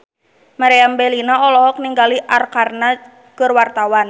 Meriam Bellina olohok ningali Arkarna keur diwawancara